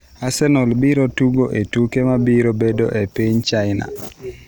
Arsenal biro tugo e tuke mabiro bedo e piny China.